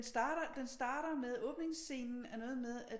Den starter med den starter med åbningsscenen er noget med at